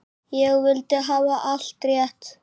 Ég vildi hafa allt rétt.